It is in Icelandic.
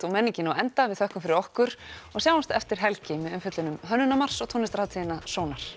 og menningin á enda við þökkum fyrir okkur og sjáumst eftir helgi með umfjöllun um Hönnunarmars og tónlistarhátíðina sónar